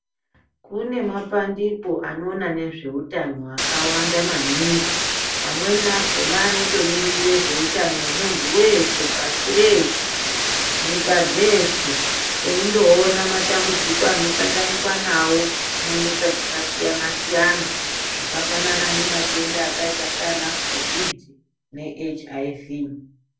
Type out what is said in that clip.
Kune mapandiko anoona nezveutano akawanda maningi amweni akhona anotomiririre zveutano hwemuntu weshe pashi rehse nyika dzeshe eindoona matambudziko anosanganikwa nawo munyika dzakasiyana siyana zvakafanana nematenda akaita saana kovhidhi ne HIV.